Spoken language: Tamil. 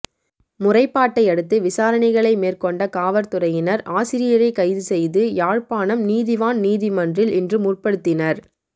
முறைப்பாட்டையடுத்து விசாரணைகளை மேற்கொண்ட காவற்துறையினர் ஆசிரியரைக் கைது செய்து யாழ்ப்பாணம் நீதிவான் நீதிமன்றில் இன்று முற்படுத்தினர்